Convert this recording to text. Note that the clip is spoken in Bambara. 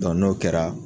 n'o kɛra